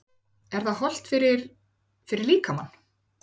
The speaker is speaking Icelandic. Er það hollt fyrir, fyrir líkamann?